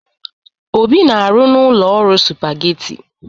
Obi na-arụ n'ụlọ ọrụ Supageti.